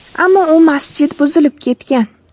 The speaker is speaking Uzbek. Ammo u masjid buzilib ketgan.